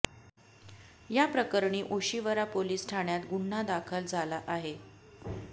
या प्रकरणी ओशिवरा पोलीस ठाण्यात गुन्हा दाखल झाला आहे